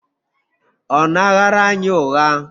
Ọ na-aghara anyị ụgha?